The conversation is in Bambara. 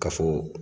Ka fɔ